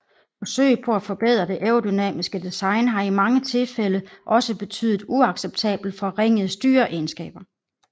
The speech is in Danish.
Forsøg på at forbedre det aerodynamiske design har i mange tilfælde også betydet uacceptabelt forringede styreegenskaber